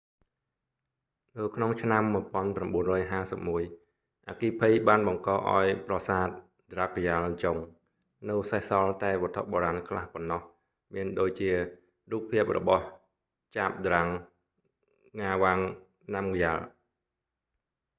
នៅក្នុងឆ្នាំ 1951 អគ្គិភ័យបានបង្កឱ្យប្រសាទ drukgyal dzong នៅសេសសល់តែវត្ថុបុរាណខ្លះប៉ុណ្ណោះ មានដូចជា រូបភាពរបស់ zhabdrung ngawang namgyal